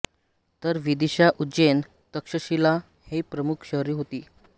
तर विदीशा उज्जैन तक्षशिला ही प्रमुख शहरे होती